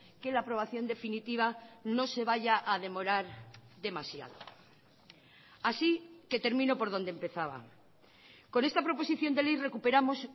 que la aprobación definitiva no se vaya a demorar demasiado así que termino por donde empezaba con esta proposición de ley recuperamos